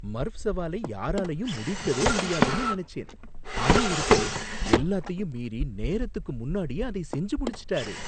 Murf சவாலை யாராலையும் முடிக்கவே முடியாதுன்னு நினைச்சேன், ஆனா ஒருத்தர் எல்லாத்தையும் மீறி நேரத்துக்கு முன்னாடியே அதை செஞ்சு முடிச்சுட்டாரு